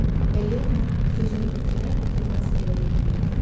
Və Yeldar sözünü bitirər-bitirməz evə getməyə tələsdi.